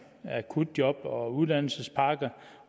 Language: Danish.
akutjob og uddannelsespakke